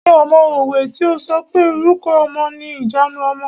Ṣé o mọ òwe tí o sọ pé "Orúkọ ọmọ ni ìjanu ọmọ".